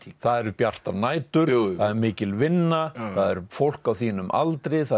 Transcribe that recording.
það eru bjartar nætur það er mikil vinna það er fólk á þínum aldri það er